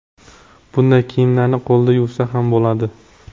Bunday kiyimlarni qo‘lda yuvsa ham bo‘ladi.